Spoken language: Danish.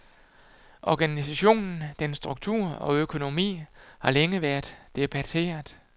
Organisationen, dens struktur og økonomi, har længe været debatteret.